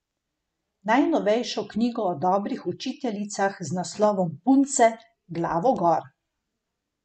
Najnovejšo knjigo o dobrih učiteljicah z naslovom Punce, glavo gor.